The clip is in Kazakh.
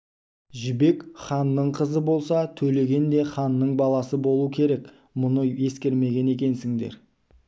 жібек ханның қызы болса төлеген де ханның баласы болу керек мұны ескермеген екенсіңдер